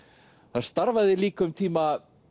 þar starfaði líka um tíma